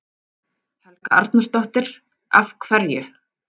Helga Arnardóttir: Af hverju?